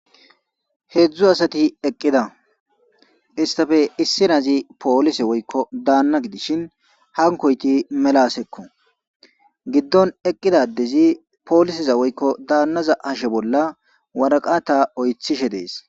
Heezu asathi eqqida; isththape issi asi poolise woykko daanna gidishin hankko7ithi mela asekko; giddon eqqiza addezi pooliseza woykko daanna hashe bolla woraqatha oyththishe de7ees.